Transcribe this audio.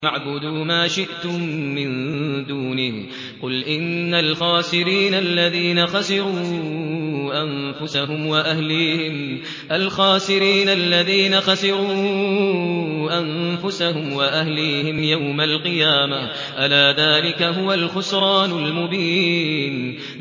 فَاعْبُدُوا مَا شِئْتُم مِّن دُونِهِ ۗ قُلْ إِنَّ الْخَاسِرِينَ الَّذِينَ خَسِرُوا أَنفُسَهُمْ وَأَهْلِيهِمْ يَوْمَ الْقِيَامَةِ ۗ أَلَا ذَٰلِكَ هُوَ الْخُسْرَانُ الْمُبِينُ